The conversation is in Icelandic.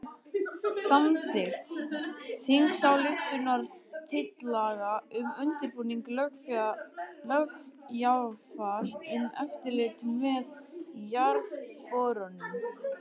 Samþykkt þingsályktunartillaga um undirbúning löggjafar um eftirlit með jarðborunum.